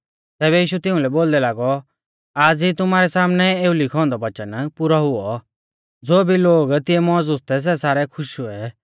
तैबै यीशु तिउंलै बोलदै लागौ आज़ ई तुमारै सामनै एऊ लिखौ औन्दौ वच़न पुरौ हुऔ